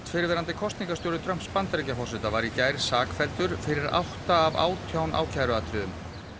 fyrrverandi kosningastjóri Trumps Bandaríkjaforseta var í gær sakfelldur fyrir átta af átján ákæruatriðum